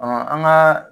an ka